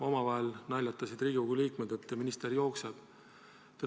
Omavahel naljatasid Riigikogu liikmed, et minister tuleb jooksuga.